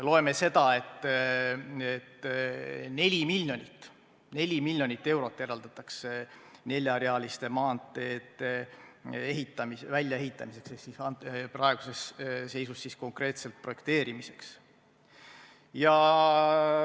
Loeme seda, et neli miljonit eurot eraldatakse neljarealiste maanteede väljaehitamiseks ehk praeguses seisus konkreetselt projekteerimiseks.